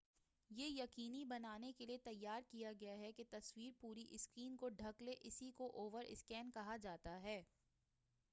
یہ یقینی بنانے کیلئے تیار کیا گیا ہے کہ تصویر پوری سکرین کو ڈھک لے اسی کو اوور سکین کہا جاتا ہے